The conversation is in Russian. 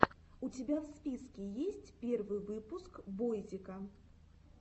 у тебя в списке есть первый выпуск бойзика